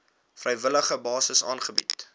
vrywillige basis aangebied